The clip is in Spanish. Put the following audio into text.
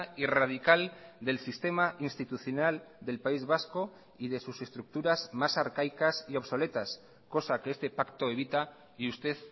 y radical del sistema institucional del país vasco y de sus estructuras más arcaicas y obsoletas cosa que este pacto evita y usted